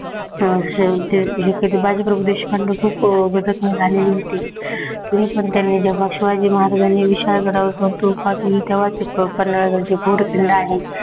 अं बाजीप्रभू देशपांडे खूप अं वेगात निघालेले होते, तरीपण त्यांनी शिवाजी महाराजांनी विशाल गडाकडे फौज पाठवली. तेव्हाचं पन्हाळगड जो घोड किल्ला आहे